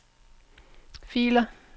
filer